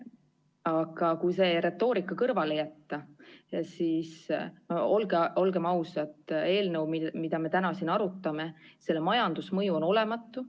Aga kui see retoorika kõrvale jätta, siis, olgem ausad, siin täna arutatava eelnõu majandusmõju on olematu.